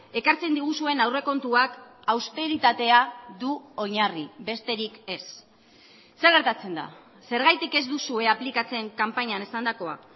ekartzen diguzuen aurrekontuak austeritatea du oinarri besterik ez zer gertatzen da zergatik ez duzue aplikatzen kanpainan esandakoa